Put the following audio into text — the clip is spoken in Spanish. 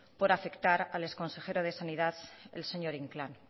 por afectar al exconsejero de sanidad el señor inclán